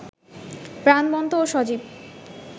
প্রাণবন্ত ও সজীব